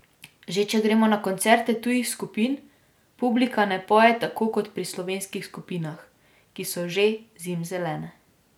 Že če gremo na koncerte tujih skupin, publika ne poje tako kot pri slovenskih skupinah, ki so že zimzelene.